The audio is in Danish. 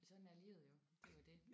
Sådan er livet jo. Det er jo det